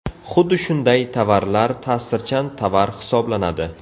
Xuddi shunday tovarlar ta’sirchan tovar hisoblanadi.